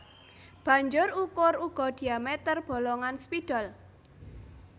Banjur ukur uga diameter bolongan spidol